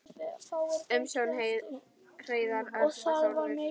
Umsjón Hreiðar Örn og Þórður.